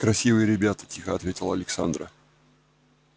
красивые ребята тихо ответила александра